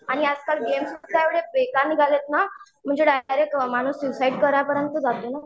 आणि आजकाल गेम तर इतके बेकार निघालेत ना म्हणजे डाइरैक्ट माणूस स्युसाईड कराय पर्यंत जातो.